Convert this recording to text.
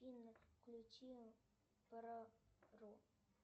афина включи про ру